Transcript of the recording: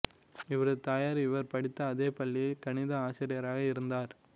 இவரது தாயார் இவர் படித்த அதே பள்ளியில் கணித ஆசிரியராக இருந்தார்